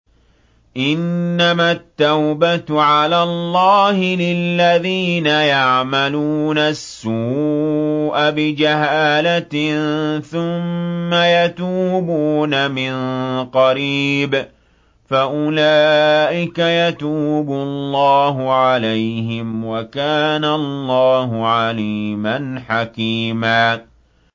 إِنَّمَا التَّوْبَةُ عَلَى اللَّهِ لِلَّذِينَ يَعْمَلُونَ السُّوءَ بِجَهَالَةٍ ثُمَّ يَتُوبُونَ مِن قَرِيبٍ فَأُولَٰئِكَ يَتُوبُ اللَّهُ عَلَيْهِمْ ۗ وَكَانَ اللَّهُ عَلِيمًا حَكِيمًا